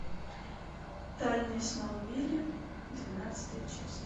тайны смолвиля двенадцатая часть